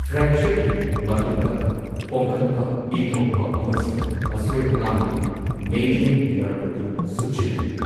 ꯐ꯭ꯔꯦꯛꯆꯔꯒꯤ ꯃꯇꯨꯡꯗ, ꯄꯣꯝꯈꯠꯄ, ꯏ ꯊꯣꯛꯄ ꯑꯃꯁꯨꯡ ꯑꯁꯣꯢ ꯑꯉꯥꯝꯅ ꯃꯦꯗꯤꯌꯟ ꯅꯔꯚ ꯑꯗꯨ ꯁꯨꯞꯆꯤꯜꯍꯜꯂꯤ꯫